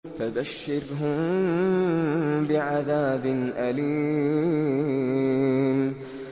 فَبَشِّرْهُم بِعَذَابٍ أَلِيمٍ